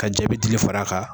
Ka jabi dili far'a kan